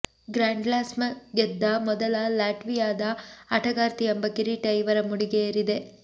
Grand Slam ಗೆದ್ದ ಮೊದಲ ಲಾಟ್ವಿಯಾದ ಆಟಗಾರ್ತಿ ಎಂಬ ಕಿರೀಟ ಇವರ ಮುಡಿಗೆ ಏರಿದೆ